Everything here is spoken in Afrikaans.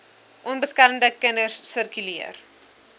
onbeskermde kinders sirkuleer